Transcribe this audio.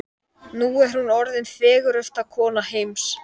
Nú er hún orðin fegursta kona heims.